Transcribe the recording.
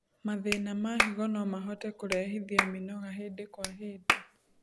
Mathĩna na higo nomahote kũrehithia mĩnoga hĩndĩ kwa hĩndĩ